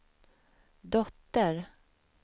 dotter